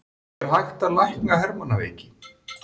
Er hægt að lækna hermannaveiki?